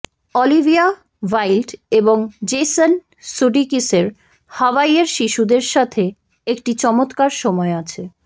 Olivia Wilde এবং Jason সুডিকিসের হাওয়াইয়ের শিশুদের সাথে একটি চমৎকার সময় আছে